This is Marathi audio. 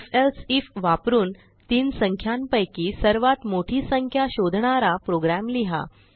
ifएल्से आयएफ वापरून तीन संख्यांपैकी सर्वात मोठी संख्या शोधणारा प्रोग्राम लिहा